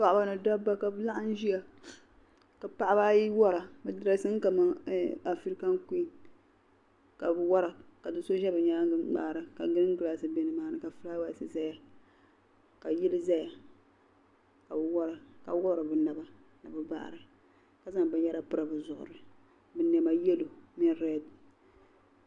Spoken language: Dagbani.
Paɣiba ni dabba kabi laɣim. n ziya ka paɣiba. ayi wara. bi dresimi ka man afican kuin. kabi wara. ka doso za bi nyaa ŋa n.mŋaara. kalindɔt. bɛ nimaani ka fulaawa s. bɛ ni maani ka yili zaya. kabi wara. ka wuɣri. bina.ba ni bi baɣri. kazaŋ. bi nyara piri. bizuɣri. binema. yalow ni read.